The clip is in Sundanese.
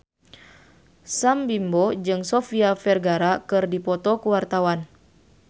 Sam Bimbo jeung Sofia Vergara keur dipoto ku wartawan